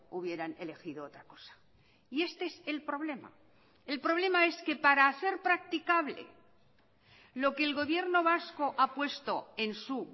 hubieran elegido otra cosa y este es el problema el problema es que para hacer practicable lo que el gobierno vasco ha puesto en su